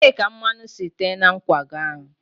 ebee ka mmanụ si tee na nkwago a?